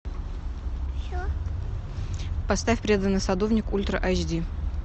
поставь преданный садовник ультра айч ди